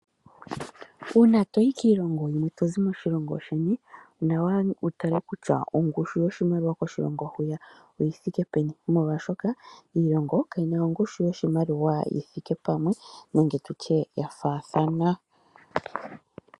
Uuna toyi kiilongo yilwe tozi moshilongo sheni, onawa wutale kutya ongushu yoshimaliwa koshilongo hwiya oyithike peni, molwaashoka iilongo kayina ongushu yoshimaliwa yithike pamwe nenge yafaathana.